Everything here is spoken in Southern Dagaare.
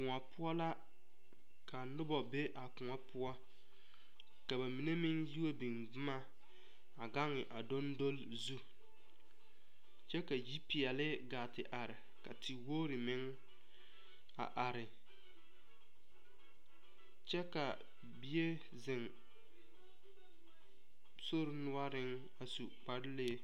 Koɔ poɔ la ka noba be a koɔ poɔ ka ba mine meŋ yiwa biŋ boma a gaŋ a doŋdole zu kyɛ ka yi peɛle gaa te are ka te wogre meŋ a are kyɛ ka bie ziŋ sori noɔriŋ a su kpare lee.